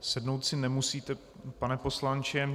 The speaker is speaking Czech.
Sednout si nemusíte, pane poslanče.